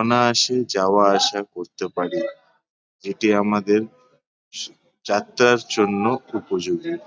অনায়াসে যাওয়া আসা করতে পারি। যেটি আমাদের যাত্রার জন্য উপযোগী।